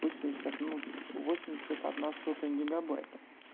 восемьдесят ну восемьдесят одна сотая гигобайта